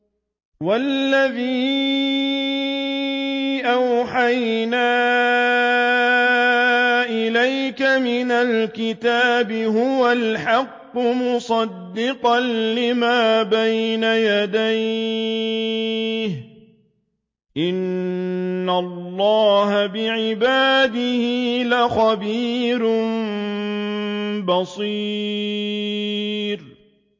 وَالَّذِي أَوْحَيْنَا إِلَيْكَ مِنَ الْكِتَابِ هُوَ الْحَقُّ مُصَدِّقًا لِّمَا بَيْنَ يَدَيْهِ ۗ إِنَّ اللَّهَ بِعِبَادِهِ لَخَبِيرٌ بَصِيرٌ